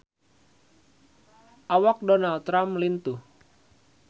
Awak Donald Trump lintuh